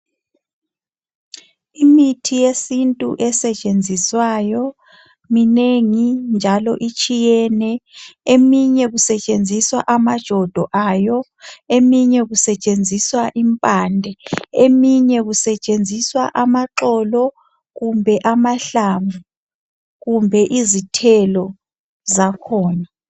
Imithi yesintu esetshenziswayo, minengi njalo itshiyene. Eminye kusetshenziswa amajodo ayo. Eminye kusetshenziswa impande. Eminye kusetshenziswa amaxolo, kumbe amahlamvu. Kumbe izithelo zakhona. i